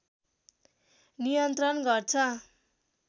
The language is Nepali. नियन्त्रण गर्छ